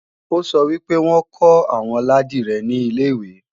Ó sọ wí pé wọ́n kọ́ àwọn ládìrẹ ní ilè-ìwé